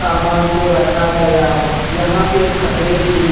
सामान को रखा गया है यहां पे फ़तरे भी है।